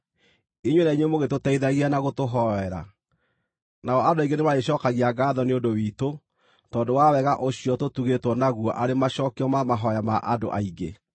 inyuĩ na inyuĩ mũgĩtũteithagia na gũtũhoera. Nao andũ aingĩ nĩmarĩcookagia ngaatho nĩ ũndũ witũ, tondũ wa wega ũcio tũtugĩĩtwo naguo arĩ macookio ma mahooya ma andũ aingĩ.